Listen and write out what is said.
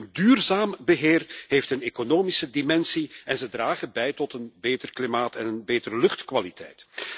Hun duurzaam beheer heeft een economische dimensie en ze dragen bij tot een beter klimaat en een betere luchtkwaliteit.